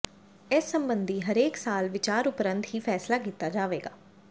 ਇਸ ਸਬੰਧੀ ਹਰੇਕ ਸਾਲ ਵਿਚਾਰ ਉਪਰੰਤ ਹੀ ਫੈਸਲਾ ਕੀਤਾ ਜਾਵੇਗਾ